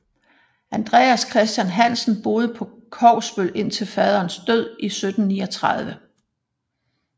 Andreas Christian Hansen boede på Kogsbøl indtil faderens død i 1739